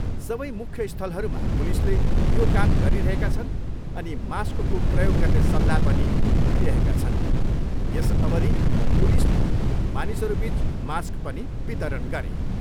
सबै मुख्य स्थलहरूमा पुलिसले यो काम गरिरहेका छन् अनि मास्कको प्रयोग गर्ने सल्लाह पनि दिइरहेका छन्, यस अवधि पुलिसले मानिसहरूबिच मास्क पनि वितरण गरे।